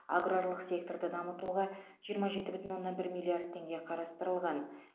аграрлық секторды дамытуға жиырма жеті бүтін оннан бір миллиард теңге қарастырылған